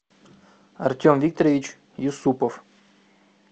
артем викторович юсупов